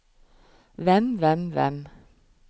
hvem hvem hvem